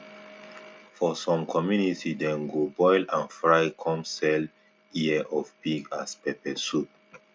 for some community dem go boil and fry come sell ear of pig as pepper soup